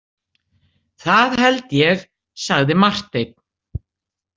Það held ég, sagði Marteinn.